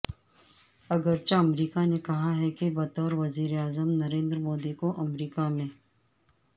اگرچہ امریکہ نے کہا ہے کہ بطور وزیر اعظم نریندر مودی کو امریکہ میں